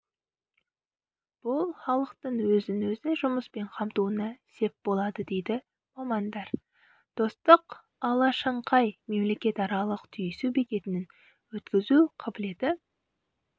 бұл халықтың өзін-өзі жұмыспен қамтуына сеп болады дейді мамандар достық алашаңқай мемлекетаралық түйісу бекетінің өткізу қабілеті